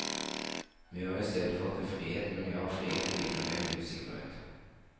Vi har i stedet fått en frihet, men i all frihet hviler det en usikkerhet.